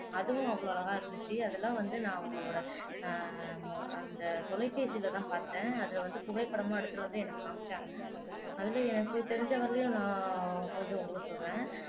அதுவும் அவ்வளவு அழகா இருந்திச்சு அதெல்லாம் வந்து நான் அவங்களோட அஹ் அந்த தொலைபேசில தான் பார்த்தேன் அத வந்து புகைப்படமா எடுத்து வந்து எனக்கு காண்பிச்சாங்க அதுல எனக்கு தெரிஞ்ச வரையிலயும் நான் கொஞ்சம் உங்களுக்கு சொல்றேன்